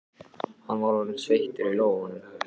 Hann var orðinn sveittur í lófunum.